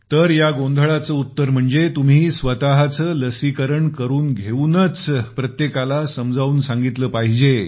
तर या गोंधळाचे उत्तर म्हणजे तुम्ही स्वत चे लसीकरण करून घेऊनच प्रत्येकास समजावून सांगितले पाहिजे